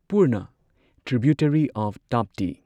Purna tributary of Tapti